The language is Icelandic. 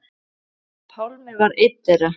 Pálmi var einn þeirra.